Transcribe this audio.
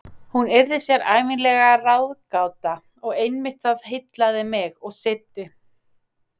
Hún yrði sér ævinlega ráðgáta- og einmitt það heillaði mig og seiddi.